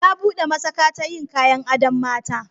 Ya buɗe masaƙa ta yin kayan adon mata.